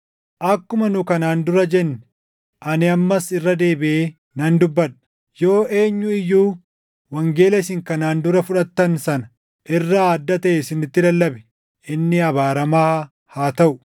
Akkuma nu kanaan dura jenne ani ammas irra deebiʼee nan dubbadha; yoo eenyu iyyuu wangeela isin kanaan dura fudhattan sana irraa adda taʼe isinitti lallabe inni abaaramaa haa taʼu!